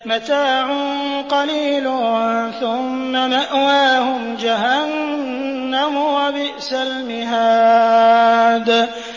مَتَاعٌ قَلِيلٌ ثُمَّ مَأْوَاهُمْ جَهَنَّمُ ۚ وَبِئْسَ الْمِهَادُ